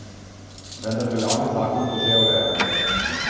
Vendar veljavni zakon to že ureja.